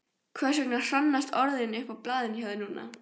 Hversvegna hrannast orðin upp á blaðinu hjá þér núna?